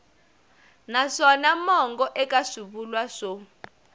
naswona mongo eka swivulwa swo